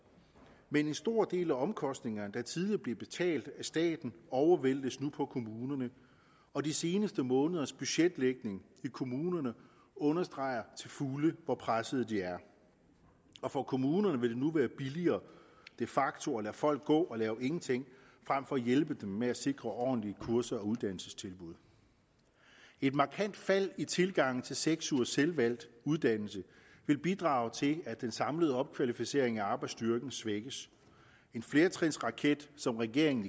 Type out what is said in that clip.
men en stor del af omkostningerne der tidligere blev betalt af staten overvæltes nu på kommunerne og de seneste måneders budgetlægning i kommunerne understreger til fulde hvor pressede de er for kommunerne vil det nu de facto at lade folk gå og lave ingenting frem for at hjælpe dem ved at sikre ordentlige kurser og uddannelsestilbud et markant fald i tilgangen til seks ugers selvvalgt uddannelse vil bidrage til at den samlede opkvalificering af arbejdsstyrken svækkes en flertrinsraket som regeringen